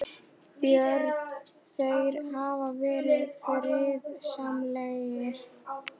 Björn: Þeir hafa verið friðsamlegir?